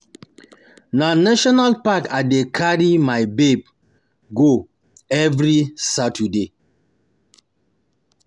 Na National park I dey carry my babe go every Saturday.